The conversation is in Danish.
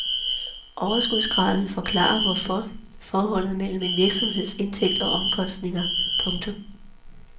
Overskudsgraden forklarer forholdet mellem en virksomheds indtægter og omkostninger. punktum